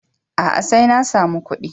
A'a, sai na samu kuɗi.